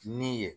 Ni ye